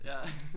Ja